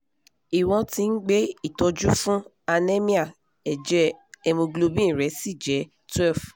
iwọ́n ti ń gbé ìtọ́jú fún anemia ẹ̀jẹ̀ hemoglobin rẹ̀ sì jẹ́ twelve